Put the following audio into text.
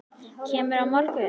Kemurðu á morgun?